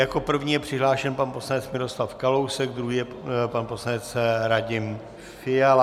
Jako první je přihlášen pan poslanec Miroslav Kalousek, druhý je pan poslanec Radim Fiala.